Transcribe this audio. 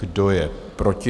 Kdo je proti?